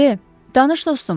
De, danış dostum.